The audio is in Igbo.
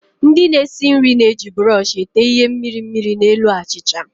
Ndị na-esi nri na-eji buroshi na-ete ihe mmiri mmiri na elu achịcha